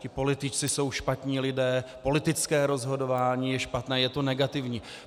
Ti politici jsou špatní lidé, politické rozhodování je špatné, je to negativní.